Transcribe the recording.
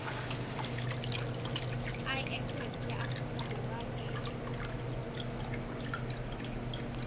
iss ya afrika borwa e